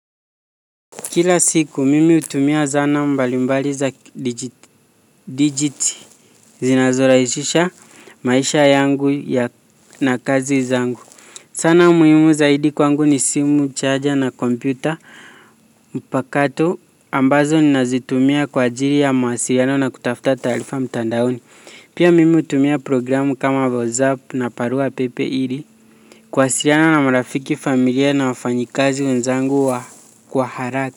Kila siku mimi hutumia zana mbalimbali za kidigitali zinazo rahisha maisha yangu na kazi zangu. Sana muhimu zaidi kwangu ni simu, charger na kompyuta mpakato ambazo ninazitumia kwa ajili ya mawasiliano na kutafta taarifa mtandaoni. Pia mimi hutumia programu kama WhatsApp na barua pepe ili kuwasiliana na marafiki familia na wafanyikazi wenzangu wa kwa haraka.